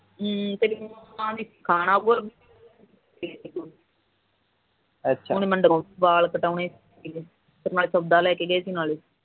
ਹਮ ਅੱਛਾ ਹੁਣ ਮੈਨੂੰ ਵਾਲ ਕਟਾਉਣੇ ਨਾਲ ਸੋਦਾ ਲੈ ਕੇ ਗਏ ਸੀ